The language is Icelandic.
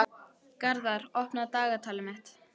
Garðar, opnaðu dagatalið mitt.